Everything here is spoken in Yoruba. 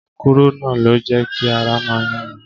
Kúrúnà ló jẹ́ kí ara máa yún mi.